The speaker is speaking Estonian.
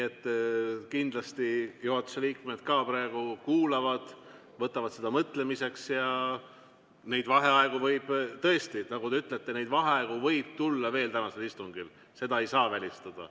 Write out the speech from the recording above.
Kindlasti juhatuse liikmed ka praegu kuulavad, võtavad seda mõtlemiseks ja neid vaheaegu võib tõesti tulla veel tänasel istungil, seda ei saa välistada.